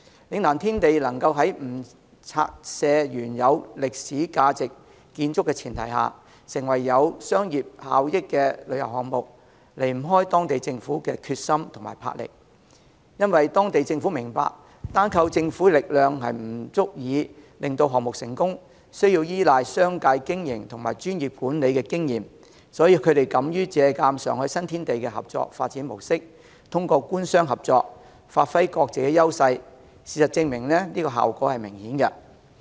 嶺南天地能在不拆卸原有具歷史價值建築的前提下，成為具商業效益的旅遊項目，離不開當地政府的決心和魄力，因為當地政府明白，單靠政府的力量不足以令項目成功，需要依賴商界的經營及專業管理的經驗，所以他們敢於借鑒上海新天地的合作發展模式，透過官商合作，發揮各自優勢，事實證明效果明顯。